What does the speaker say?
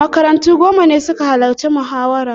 Makarantu goma ne suka halarci muhawarar.